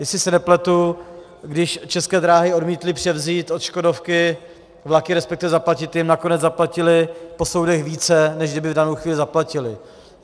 Jestli se nepletu, když České dráhy odmítly převzít od Škodovky vlaky, respektive zaplatit jim, nakonec zaplatily po soudech víc, než kdyby v danou chvíli zaplatily.